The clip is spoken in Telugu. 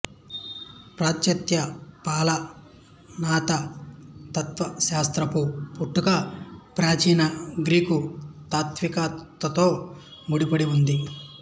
పాశ్చాత్య పాలనాతత్త్వశాస్త్రపు పుట్టుక ప్రాచీన గ్రీకు తాత్త్వికతతో ముడిపడి ఉంది